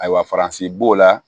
Ayiwa faransi b'o la